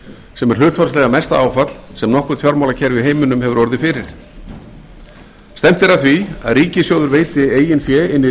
sem er hlutfallslega mesta áfall sem nokkurt fjármálakerfi í heiminum hefur orðið fyrir stefnt er að því að ríkissjóður veiti eigin fé inn í